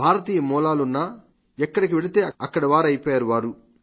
భారతీయ మూలాలున్నా ఎక్కడికి వెళితే అక్కడి వాళ్లయిపోయారు